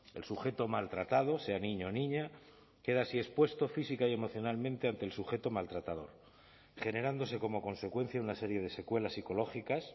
el sujeto maltratado sea niño o niña queda así expuesto física y emocionalmente ante el sujeto maltratador generándose como consecuencia de una serie de secuelas psicológicas